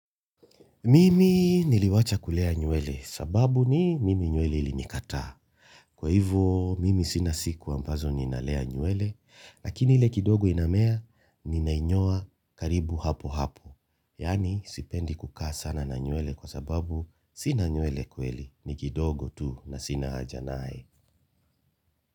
Mimi niliwacha kulea nywele sababu ni mimi nywele ilinikataa. Kwa hivyo mimi sina siku ambazo ninalea nywele, lakini ile kidogo inamea ninainyoa karibu hapo hapo. Yaani sipendi kukaa sana na nywele kwa sababu sina nywele kweli ni kidogo tu na sina haja naye.